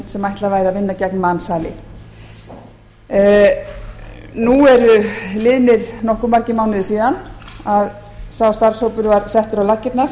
sem ætlað væri að vinna gegn mansali nú eru liðnir nokkuð margir mánuðir síðan að sá starfshópur var settur á laggirnar